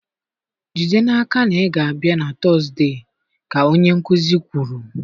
Jide n'aka na ị ga-abịa na Tọzdee ka onye nkuzi kwuru.